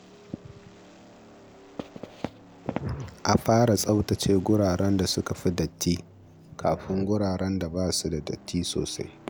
A fara tsaftace wuraren suka fi datti kafin wuraren da ba su da datti sosai.